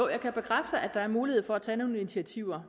her lovforslag er mulighed for at tage initiativer